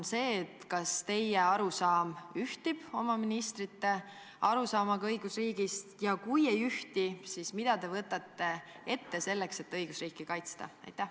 Kas teie arusaam ühtib nende ministrite arusaamaga õigusriigist ja kui ei ühti, siis mida te võtate ette selleks, et õigusriiki kaitsta?